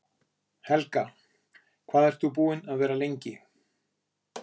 Helga: Hvað ert þú búinn að vera lengi?